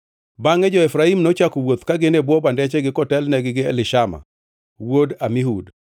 Bangʼe jo-Efraim nochako wuoth ka gin e bwo bandechgi kotelnegi gi Elishama wuod Amihud.